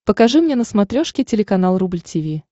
покажи мне на смотрешке телеканал рубль ти ви